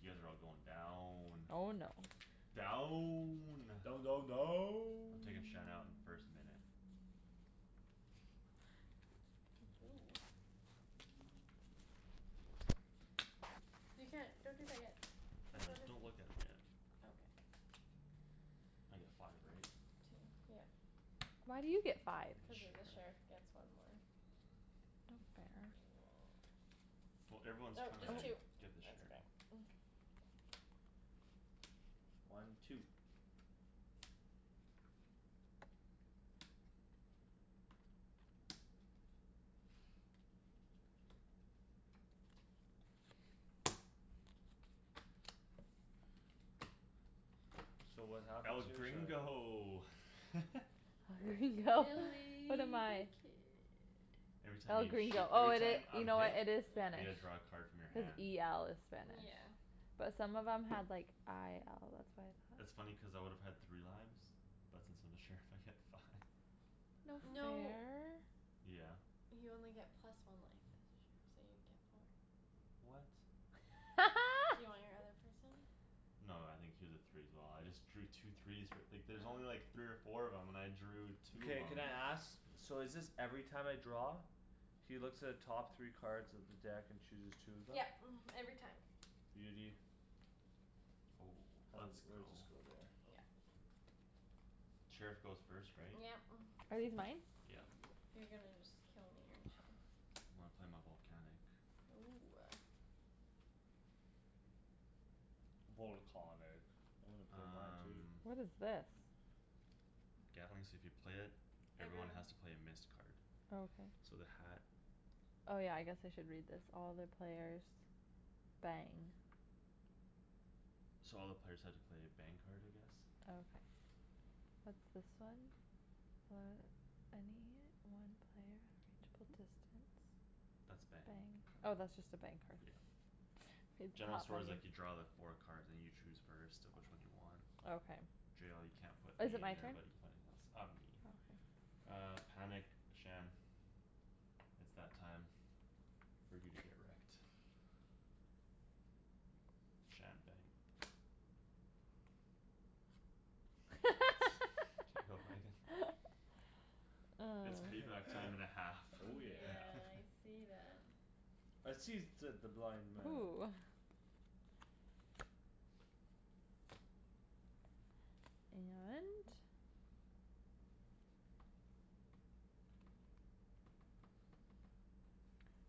You guys are all going down. Oh, no. Down! Down, down, I'm down. taking Shan out in the first minute. Ooh. You can't, don't drink that yet. I Cuz know, what if don't look at 'em yet. Okay. I get five, right? Two, yep. Why do you get five? The Cuz the sheriff sheriff. gets one more. No fair. Well, everyone's Oh, trying just two. to get the That's sheriff. better. One, two. So what happens El here? Sorry. gringo! El Gringo. What Willy am the I? kid. Every time El you shoo- Gringo, oh every it time i- you I'm know what, hit it is I Yeah. Spanish. get to draw a card from your Cuz hand. e l is spanish. Yeah. But some of them had, like, i l, That's that's why I thought funny cuz I would have had three lives. But since I'm the sheriff, I get five. No No. fair. Yeah. You only get plus one life as a sheriff, so you get four. What? Do you want your other person? No, I think he was a three as well; I just drew two threes f- like, there's only like Oh. three or four of 'em and I drew two of Mkay, 'em. can I ask? So is this every time I draw? He looks at the top three cards of the deck and chooses two of them? Yep, mhm, every time. Beauty. Oh, How is let's it, where does go. this go there? Yep. Sheriff goes first, right? Yep. Are these mine? Yeah. You're gonna just kill me, aren't you? When I play my volcanic. Ooh. Volcahnic. I wanna play mine too. Um What is this? Gatling, so if you play it, everyone Everyone. has to play a missed card. Okay. So the hat Oh, yeah, I guess I should read this. All the players bang. So all the players have to play a bang card, I guess? Okay. What's this one? any one player of reachable distance. That's a bang Bang. Oh, card. that's just a bang card. Yeah. General store's like, you draw the four cards and you choose first of which one you want. Okay. Jail, you can't put me Is it in my there turn? but you can put anything else. Uh, me. Okay. Uh, panic, Shan. It's that time For you to get wrecked. Shan, bang. Get wrecked. K, go, Megan. It's Mm. payback time and a half. Oh, yeah. Yeah, I see that. I sees, said the blind man. Ooh. And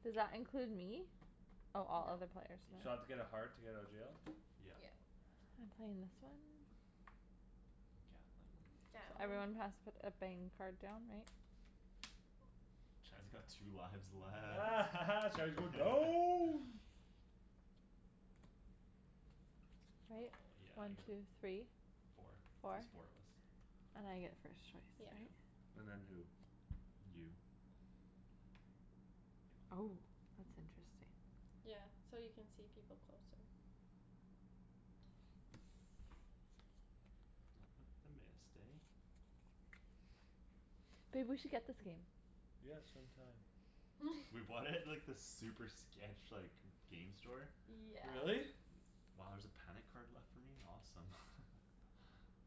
Does that include me? Oh, all other Nope. players, So I have to Yeah. no. get a heart to get out of jail? Yeah. Yep. I'm playing this one. Gatling. Gatling. Everyone has to put a bang card down, right? Shan's got two lives left. Shan's going down. Right? Oh, yeah, I One, get two, three. Four. Four. There's four of us. And I get first choice, Yep. Yeah. right? And then who? You. Oh. That's interesting. Yeah. So you can see people closer. Not with the missed, eh? Babe, we should get this game. Yeah, some time. We bought it at, like, this super sketch, like, g- game store. Yeah. Really? Wow, there's a panic card left for me? Awesome.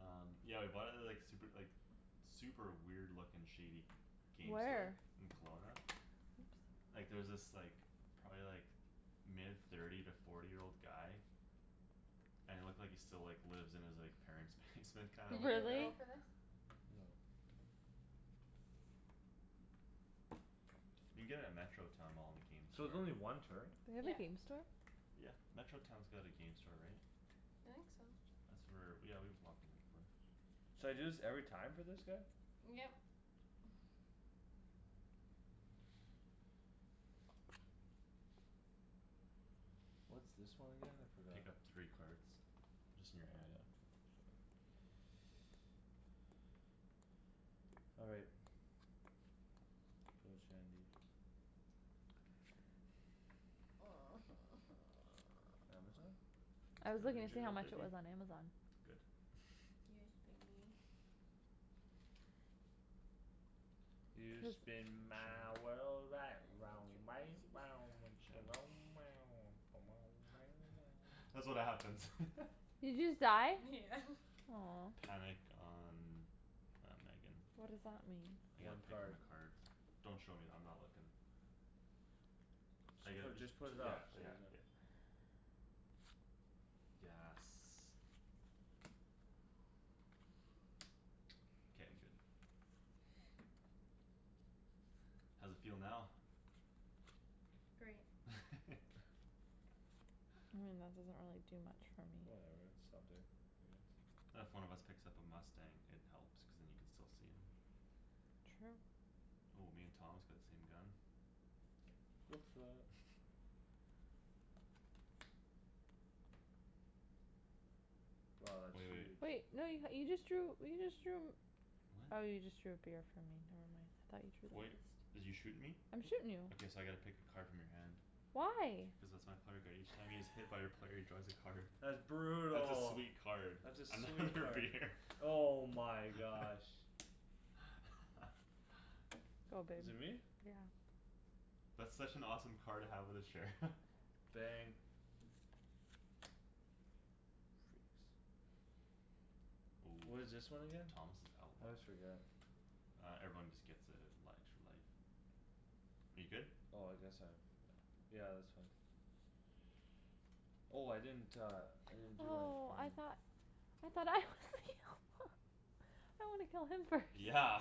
Um, yeah, we bought it at the, like, super, like, super weird looking shady game store. Where? In Kelowna. Oops. Like, there was this, like, probably like mid thirty to forty year old guy And it looked like he still, like, lives in his, like, parents' basement kinda Did looking you guy. go Really? for this? No. You can get it at Metro Town mall in the game So it's store. only one turn? They have a Yeah. game store? Yeah. Metro Town's got a game store, right? I think so. That's where, yeah, we've walked in there before. So I do this every time for this guy? Yep. What's this one again? I forgot. Pick up three cards. Just in Yeah, your hand. that's All right. Go Shandie. Amazon? I It's was not in looking to see how jail, much it biggie. was on Amazon. Good. Yes, be mean. You spin my Shandryn. world right round, I want right to round, when Shan That's what happens. Did you just die? Yeah. Aw. Panic on, uh, Megan. What does that mean? I get One to pick from card. a card. Don't show me; I'm not looking. I Just get put, just just put t- it yeah, back, so you're yeah, done. yeah. Yes. K, I'm good. How's it feel now? Great. I mean, that doesn't really do much for me. Whatever, it's something. I guess. If one of us picks up a mustang, it helps cuz then you can still see him. True. Oh, me and Thomas got the same gun. What's up! Wow, that's Wai- wait. huge. Wait, no, you h- you just drew, you just drew Oh, you just drew a What? beer from me, never mind. I thought you drew Wait, this. did you shoot me? I'm shootin' you. Okay, so I gotta pick a card from your hand. Why? Cuz that's my player card. Each time he is hit by a player, he draws a card. That's That's a brutal. sweet card. That's a sweet Another card. beer. Oh my gosh. Go, Is it babe. me? Yeah. That's such an awesome card to have with a sheriff. Bang. Freaks. Ooh, What is this one so again? Thomas is I outlaw? always forget. Uh, everyone just gets a li- extra life. Are you good? Oh, I guess I have, yeah. Yeah, that's fine. Oh, I didn't uh, I didn't do that for Oh, I you. thought I thought I was the outlaw. I wanna kill him first. Yeah.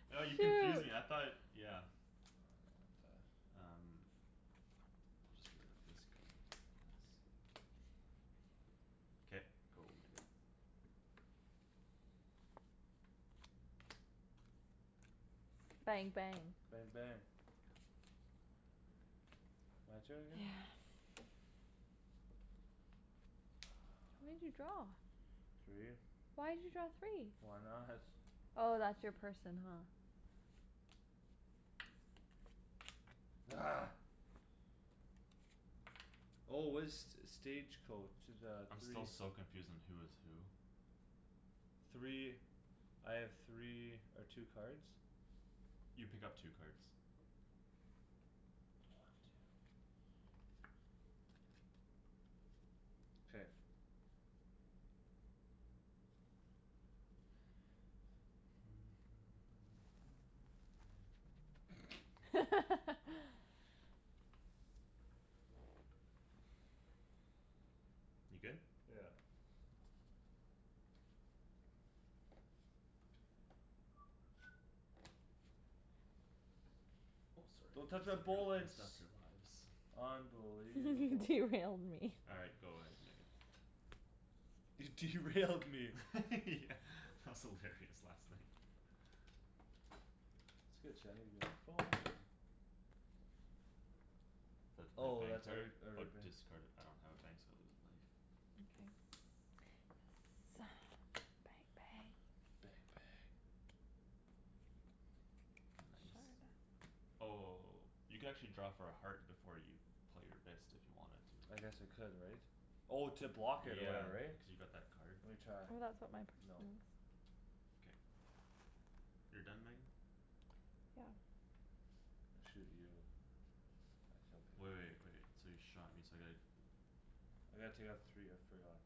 Oh, you confused me, I Shoot. thought, yeah. Um. I'll just get rid of this gun, yes. K, go, Megan. Bang, bang. Bang, bang. My turn Yeah. again? How many did you draw? Three. Why'd you draw three? Why not? Oh, that's your person, huh? Argh. Oh, what is st- stage coach, the I'm still three so confused on who is who. Three, I have three or two cards? You pick up two cards. One, two. K. You good? Yeah. Oh, sorry. Don't touch Messed my up your, messed up bullets. your lives. Unbelievable. Derailed me. All right, go ahead Megan. You derailed me. Yeah, that was hilarious last night. That's good Shandryn; give me that phone. So I have to play a Oh, bang that's every, card? Or every bang. discard a- I don't have a bang so I lose a life. Mkay. Yes. Bang, bang. Bang, bang. Nice. Oh, you can actually draw for a heart before you play your missed if you wanted to. I guess I could, right? Oh, to block it or Yeah, whatever, right? cuz you got that card. Lemme try. Oh, that's what my person No. is. K. You're done, Megan? Yeah. I shoot you. I shall pick Wai- wait, wait, this so you shot me so I gotta I gotta take off three, I forgot.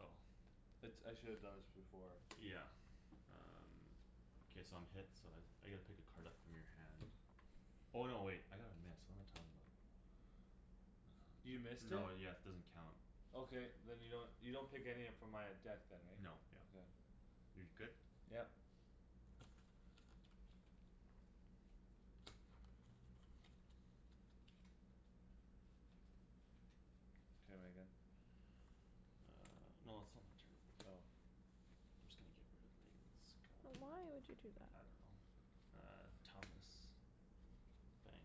Oh. It's, I shoulda done this before. Yeah. Um K, so I'm hit, so I s- I get to pick a card up from your hand. Oh, no, wait, I got a miss, what am I talking about? You Um missed it? no, yes, it doesn't count. Okay, then you don't, you don't pick any up from my uh deck then, right? Nope, yep. Okay. You're good? Yep. K, Megan. Uh, no, it's still my turn. Oh. I'm just gonna get rid of Megan's gun. But why would you do I that? don't know. Uh, Thomas. Bang.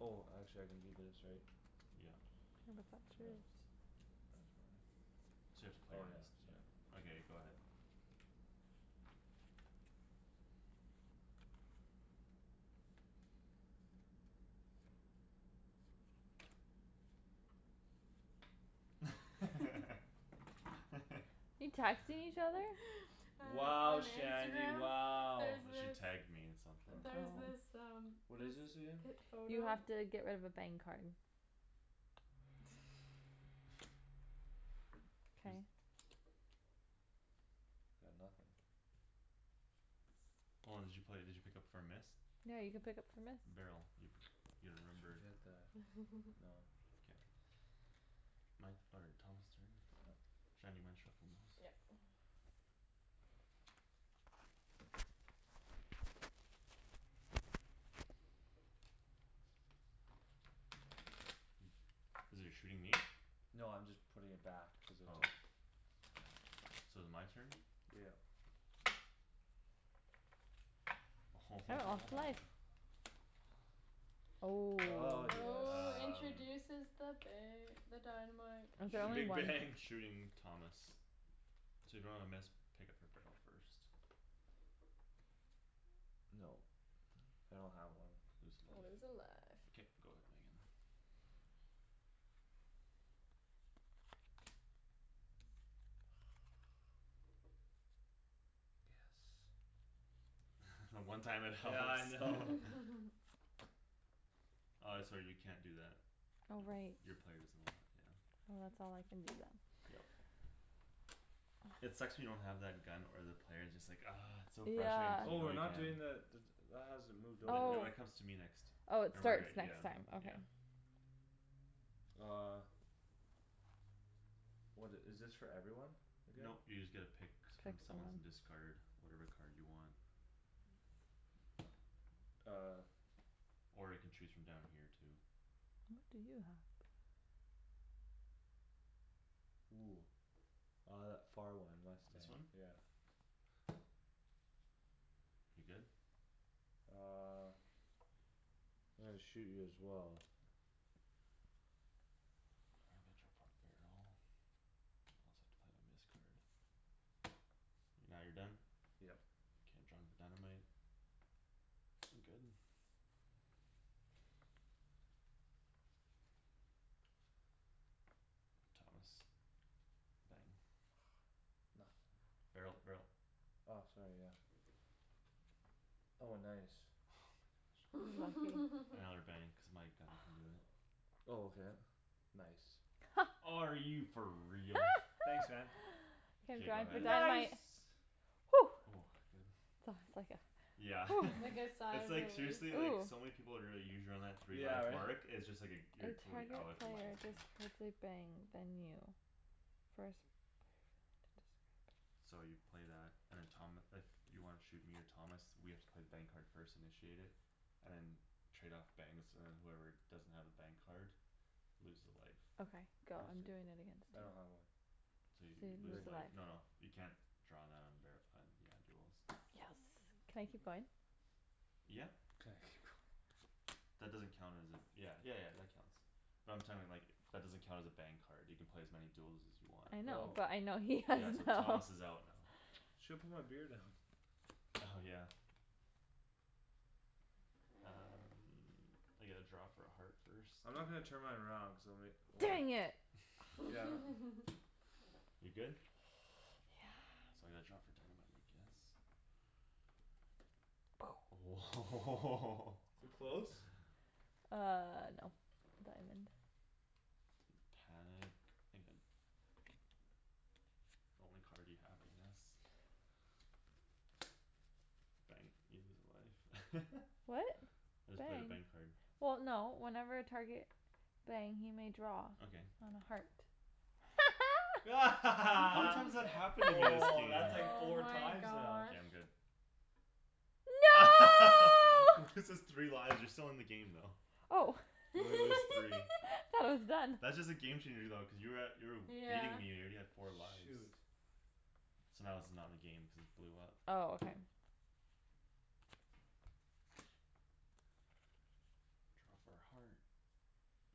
Oh, actually I can do this, right? Yep. No, but that's So now yours. it's, that's five? So you have to play Oh your yeah, missed, sorry. yeah. Okay, go ahead. You texting each other? Wow, On Shandie, Instagram, wow. there's she this tagged me in something. there's Oh. this Oh. um What is this this again? pip You photo have to get rid of a bang card. K. Got nothing. Hold on, did you play, did you pick up for a miss? No, you can pick up for missed? Barrel. You p- you Just remember forget that. No. K. My, or, Thomas' turn? Yep. Shan, you mind shuffling those? Yep. You're shooting me? No, I'm just putting it back cuz I Oh. took So is my turn? Yep. Oh. Ah, yes. Oh, Um. introduces the ba- the dynamite. I The I'll draw only big shoot, one. bang. shooting Thomas. So if you don't have a miss, pick up for barrel first. Nope. I don't have one. Lose Lose a life. life. K, go ahead, Megan. Yes. The one time it helps. Yeah, I know. Uh, sorry, you can't do that. Oh, right. Y- your player doesn't allow it, yeah. Well, that's all I can do then. Yep. It sucks when you don't have that gun or the player; it's just like, argh. It's just so frustrating Yeah. cuz you Oh, know we're you not can. doing the d- d- that hasn't moved over, Th- no, Oh. right? it comes to me next. Oh, it Remember, Oh. starts yeah. next time. Okay. Yeah. Uh. What i- is this for everyone again? Nope, you just get to pick Pick from someone. someone's and discard whatever card you want. Uh. Or you can choose from down here too. What do you have? Ooh. Uh, that far one, This mustang. one? Yeah. You're good? Uh. I'm gonna shoot you as well. Uh, I gotta draw for a barrel? I also have to play my miss card. Now you're done? Yep. K, I'm drawing for dynamite. I'm good. Thomas. Bang. Nothing. Barrel, barrel. Ah, sorry, yeah. Oh, nice. Oh my gosh. Another bang cuz my gun can do it. Oh, okay. Nice. Are you for real? Thanks, man. K, I'm K, go drawing for ahead. dynamite. Nice! Oh, good. That was like a Yeah. Like a sigh It's of like relief. seriously, like, Ooh. so many people would really three Yeah, life right? mark; it's just like a, A you're totally out target if it player lands on you. discards a bang, then you. First player to discard So you play that and then Tom, if you wanna shoot me or Thomas, we have to play bang card first, initiate it. And then trade off bangs, and then whoever doesn't have a bang card Loses a life. Okay, go. I I'm see. doing it against I you. don't have one. So you So you lose lose a life. life, no, no, you can't draw that on bar- on, yeah, duels. Yes. Can I keep going? Yeah. Can I keep going. That doesn't count as a, yeah, yeah yeah, that counts. But I'm like, that doesn't count as a bang card. You can play as many duels as you want. I know, Oh. but I know he has Yeah, so none. Thomas is out now. Shoulda put my beer down. Oh, yeah. Um, I get to draw for a heart first. I'm not gonna turn mine around cuz I'll ma- well Dang Why? it! Yeah. You're good? Yeah. So I gotta draw for dynamite, I guess. Oh Too close? Uh, no. Diamond. Panic, Megan. The only card you have, I guess. Bang. You lose a life. What? I just played a bang Bang. card. Well, no, whenever a target Bang, he may draw Okay. on a heart. How many Woah, times that happened to me this game? that's like Oh four my times now. K, gosh. I'm good. No! Loses three lives, you're still in the game, though. Oh. You only lose three. Thought it was done. That's just a game changer, though cuz you were at, you were w- beating Yeah. me, you're already at four lives. Shoot. So now this is not in the game, cuz it blew up. Oh, okay. Draw for a heart.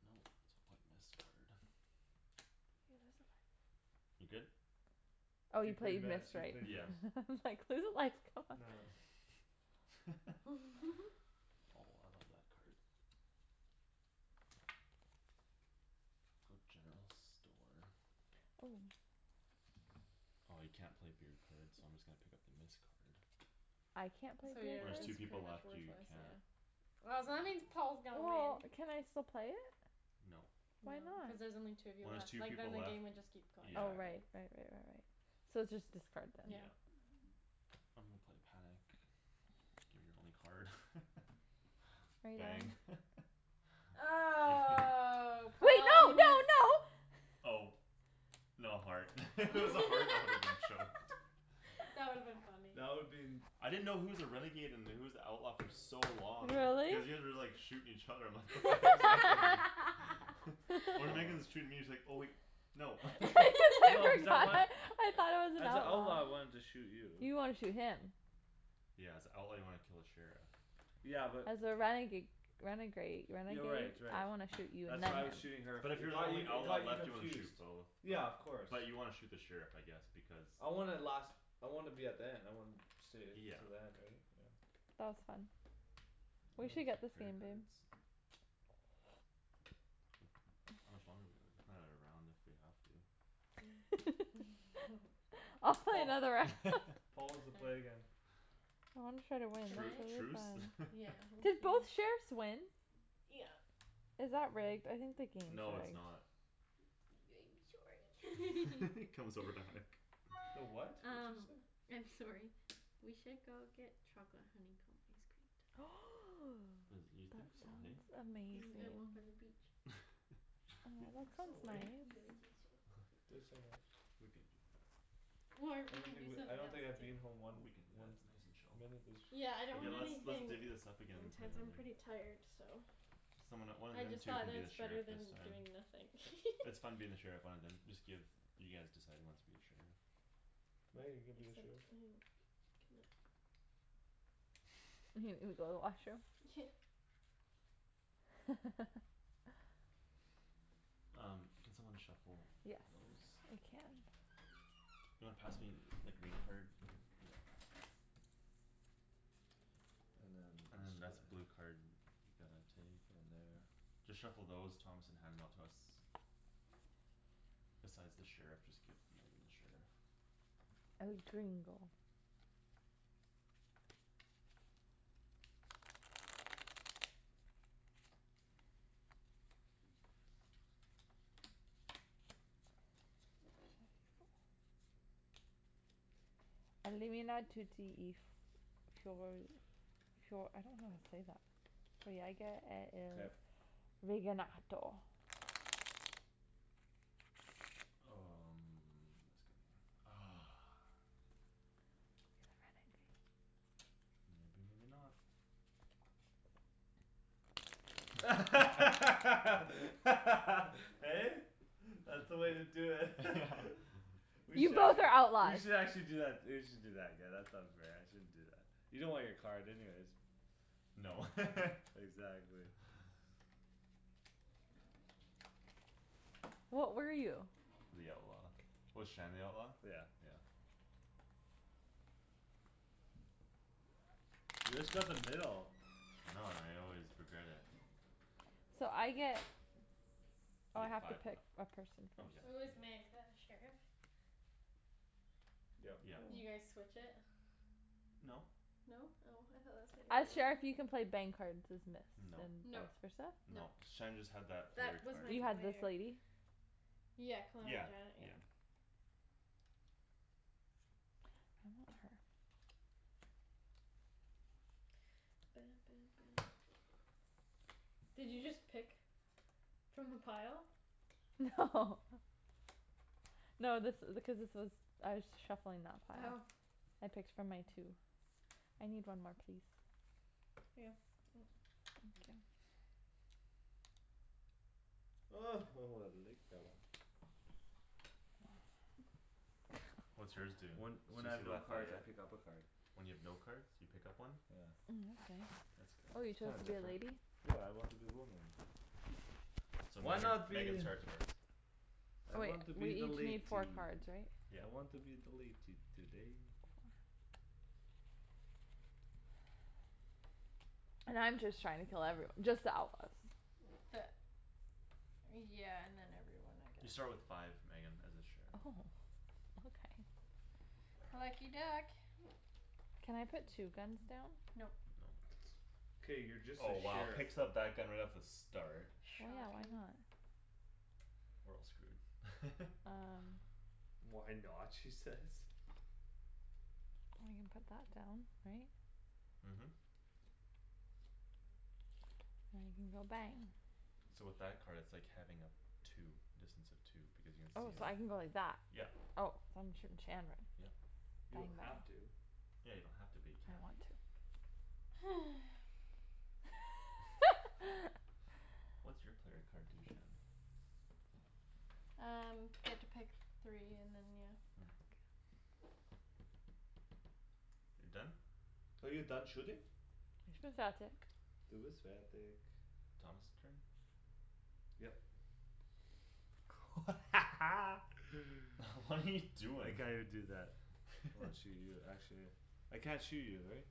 Nope, so I'll play a missed card. You lose a life. You good? Oh, He you play played miss, missed, he right? played Yeah. miss. I'm like, "Lose a life, god." Nah. Oh, I love that card. Go general store. Oh. Ah, you can't play beer cards so I'm just gonna pick up the miss card. I can't play So beer When your, there's cards? two it's pretty people much left, you worthless, can't. yeah. Oh, so that means Paul's gonna Well, win. can I still play it? Nope. No, Why cuz not? there's only two of you When there's left. two Like, then people the left, game would just keep going yeah. Oh, forever. right. Right right right right.. So it's just discard then. Yeah. Yeah. I'm gonna play panic. Gimme your only card. Are you Bang. done? Oh, Wait, no, no, Paul no! Oh. No heart. If it was a heart, I woulda been choked. That would've been funny. That would been I didn't know who was a renegade and who was the outlaw for so long. Really? Cuz you guys were, like, shooting each other, I'm like, "What the heck is happening?" When Outlaw. Megan's shooting me, it's like, oh wait, no. No, cuz I want I thought I was an As a outlaw, I outlaw. wanted to shoot you. You wanna shoot him. Yeah, as a outlaw, you wanna kill the sheriff. Yeah, but. As a renega- renegrade, Yeah, renegade? right, right. I wanna shoot you and That's then why I her. was shooting her But f- if it you're the got you, only it outlaw got you left, you wanna shoot confused. both. Yeah, But, of course. but you wanna shoot the sheriff, I guess, because I wanna last, I wanna be at the end, I wanna stay Yeah. till the end, right? Yeah. That was fun. It We Uh, was. should get this player game, babe. cards? How much longer do we have? We can play another round if we have to. I'll play Paul, another round. Paul wants to All play right. again. Well, I'm try to win, Can Tru- that I? was really truce? fun. Yeah, Did okay. both sheriffs win? Yeah. Is that rigged? I think the game's No, it's rigged. not. sorry. comes over to hug. The what? What's Um it say? I'm sorry. We should go get chocolate honeycomb ice cream tonight. And, you That think so, hey? sounds amazing. Mhm, and walk on the beach. You Aw, that think sounds so, eh? nice. Yeah, I think so. Do it so much. We can do that. Or I we don't could think do w- I something don't else think I'd too. be in home Well, one, we can do that, one it's nice and chill. minute this Yeah, I don't Okay, want let's, let's anything divvy this up again and play intense, I'm pretty another. tired, so. Someone that- one of I them just two thought can that be the it's better sheriff this than time. doing nothing. It's fun being the sheriff, one of them, just give, you guys decide who wants to be the sheriff. Meg, are you gonna be the Except sheriff? I have go to the washroom. Um, can someone shuffle Yes, those? I can. You wanna pass me the green card? Yeah. And then And this then guy. that's blue card, you gotta take. Then there Just shuffle those, Thomas, and hand them out to us. Besides the sheriff, just give Megan the sheriff. El Gringo. I don't know how to say that. Mkay. Um, this guy. Ah. You're the renegade. Maybe, maybe not. Hey? That's the way to do it. We You should both actually, are we outlaws! should actually do that, we should do that again, that sounds fair, I shouldn't do that. You don't want your card anyways. No. Exactly. What were you? The outlaw. Was Shan the outlaw? Yeah. Yeah. You just got the middle. I know, and I always regret it. So I get You Oh, I get have to five life. pick a person. Oh, yeah, Who is Meg, yeah. the sheriff? Yep. Yeah. You guys Mhm. switch it? No. No? Oh, I thought that's what you As sheriff, you can were play bang cards as miss No. and Nope. vice versa? Nope. No. Shan just had that player That was card my You had this player. lady? Yeah, Calamity Yeah. Janet, yeah. Yeah. I want her. Did you just pick From the pile? No. No, this i- because this was I was shuffling that pile. Oh. I picked from my two. I need one more, please. Yeah. Thank you. Oh, oh, I like that one. What's yours do? When, when I have Suzy no cards, I Lafayette? pick up a card. When you have no cards, you pick up one? Yeah. Mm, that's nice. That's Oh, you good. chose Kinda to be a different. lady? Yeah, I want to be woman. So Why Megan, not Megan be starts first. I Oh, wait, want to we be the each latey. need four cards, right? Yeah. I want to be the latey today. And I'm just trying to kill everyo- just the outlaws. The Yeah, and then everyone, I You guess. start with five, Megan, as a sheriff. Oh. Okay. Lucky duck. Can I put two guns down? Nope. No. K, you're just the Oh, wow, sheriff. picks up that gun right off the start. Well, yeah, why Shocking. not? We're all screwed. Um. "Why not?" she says. Well, I can put that down, right? Mhm. go bang. So with that card, it's like having a two, distance of two, because you can Oh, see so him, I can go like that. yep. Oh, so I'm shooting Shandryn. Yep. You Bang, don't bang. have to. Yeah, you don't have to, but you I can. want to. What's your player card do, Shan? Um, get to pick three and then, yeah. Mm. You're done? Are you done shooting? Du bist fertig. Thomas' turn? Yep. What are you I doing? can't even do that. I wanna shoot you, actually. I can't shoot you, right?